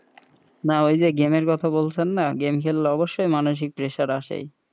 না ওই যে game এর কথা বলছেন না game খেললে অবশ্যই মানুষিক pressure আসেই,